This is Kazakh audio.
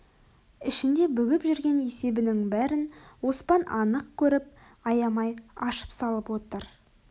ішінде бүгіп жүрген есебінің бәрін оспан анық көріп аямай ашып салып отыр